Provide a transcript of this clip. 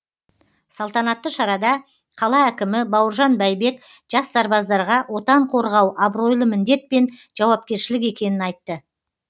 салтанатты шарада қала әкімі бауыржан бәйбек жас сарбаздарға отан қорғау абыройлы міндет пен жауапкершілік екенін айтты